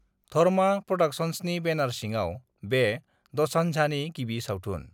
धर्मा प्र'डाक्शन्सनि बेनार सिङाव बे द'सान्झनि गिबि सावथुन।